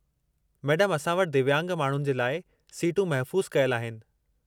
मैडमु, असां वटि दिव्यांग माण्हुनि जे लाइ सीटूं महफ़ूज़ु कयलु आहिनि।